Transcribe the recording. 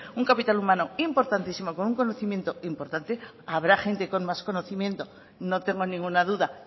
un capital humano importantísimo con un conocimiento importante habrá gente con más conocimiento no tengo ninguna duda